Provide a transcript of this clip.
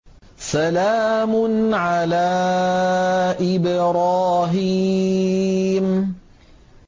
سَلَامٌ عَلَىٰ إِبْرَاهِيمَ